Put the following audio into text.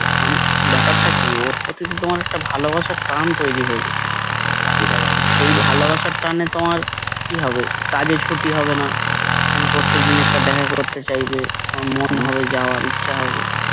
আমি ব্যাপারটা কি ওর প্রতিদিন তোমার একটা ভালোবাসার টান তৈরি হয়ে গেছিল সেই ভালোবাসার টানে তোমার কি হবে? কাজে ছুটি হবে না তুমি প্রত্যেকদিন একটা দেখা করতে চাইবে আমার মন ভাবে যাওয়ার ইচ্ছা হবে